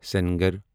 سَنگر